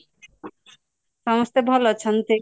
ସମସ୍ତେ ଭଲ ଅଛନ୍ତି